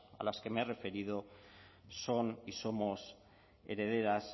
a las que me he referido son y somos herederas